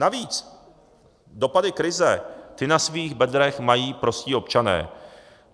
Navíc dopady krize, ty na svých bedrech mají prostí občané.